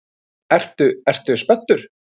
Ertu, ertu spenntur?